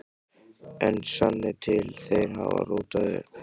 En sannið til: Þeir hafa rótað upp.